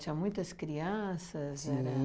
Tinha muitas crianças? E